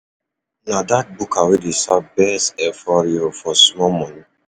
Na dat buka wey dey serve best efo riro for small money.